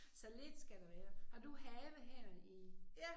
Så lidt skal der være. Har du have her i